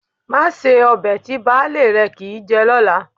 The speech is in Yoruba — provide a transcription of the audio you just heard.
Má se ọbẹ̀ tí baálé rẹ kì í jẹ lọ́la